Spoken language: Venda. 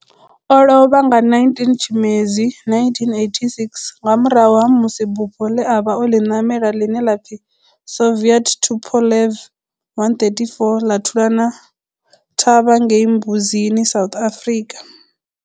O lovha nga 19 Tshimedzi 1986 nga murahu ha musi bufho le a vha o li namela, line la pfi Soviet Tupolev 134 la thulana thavha ngei Mbuzini, South Africa.